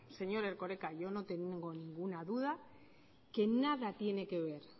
señor erkoreka yo no tengo ninguna duda que nada tiene que ver